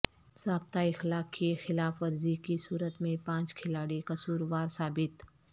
ضابطہ اخلاق کی خلاف ورزی کی صورت میں پانچ کھلاڑی قصوروار ثابت